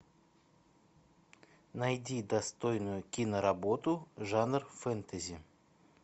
найди достойную киноработу жанр фэнтези